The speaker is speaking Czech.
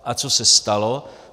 A co se stalo?